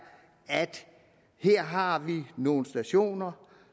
at her har vi nogle stationer